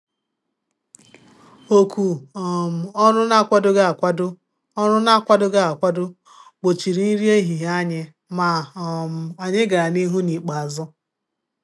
Òkù um ọrụ n'akwadoghị akwado ọrụ n'akwadoghị akwado gbochiri nri ehihie anyị, ma um anyị gàrà n' ihu n' ikpeazụ.